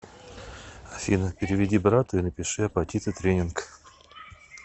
афина переведи брату и напиши апатиты тренинг